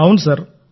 అవును సార్